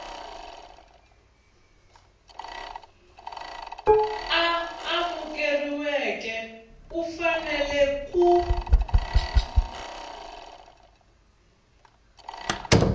a amukeriweke u fanele ku